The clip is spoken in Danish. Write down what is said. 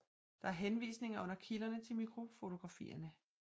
Der er henvisninger under kilderne til mikrofotografierne